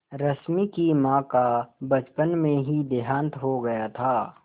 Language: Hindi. रश्मि की माँ का बचपन में ही देहांत हो गया था